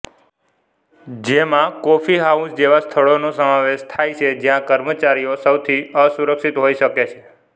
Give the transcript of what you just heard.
જેમાં coffee house જેવા સ્થળોનો સમાવેશ થાય છે જ્યાં કર્મચારીઓ સૌથી અસુરક્ષિત હોઇ શકે છે